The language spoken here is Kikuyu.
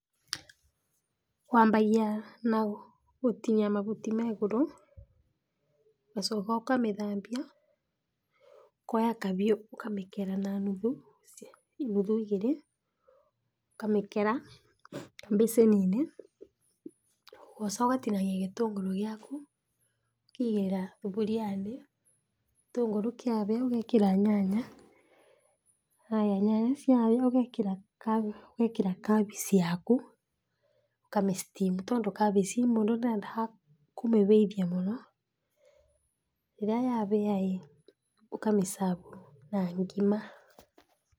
Wambagia na gũtinia mahuti me igũrũ, ũgacoka ũkamĩthambia, ũkoya kahiũ ũkamĩkera na nuthu, inuthu igĩrĩ, ũkamĩkera kabicĩninĩ, ũgoca ũkatinania gĩtũngũru gĩaku, ũkaigĩrĩra thaburiainĩ, gĩtũngũrũ kĩahĩa ũgekĩra nyanya, haya nyanya cia ha ũgekĩra kabici yaku, ũkamĩ steam tondũ kabici mũndũ ndedaga kũmĩhĩithua mũno, rĩrĩa yahĩa ĩ, ũkamĩcabu na ngima.